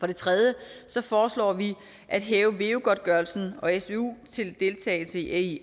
det tredje foreslår vi at hæve veu godtgørelsen og svu til deltagelse i